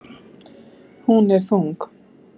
Hún er þung.